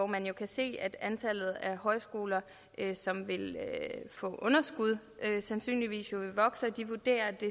man jo se at antallet af højskoler som vil få underskud sandsynligvis vil vokse de vurderer at det